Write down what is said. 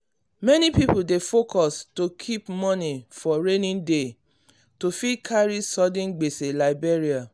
many people dey focus to keep moni for rainy day to fit carry sudden gbese like burial